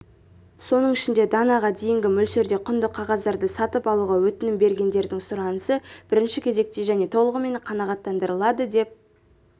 соның ішінде данаға дейінгі мөлшерде құнды қағаздарды сатып алуға өтінім бергендердің сұранысы бірінші кезекте және толығымен қанағаттандырылады деп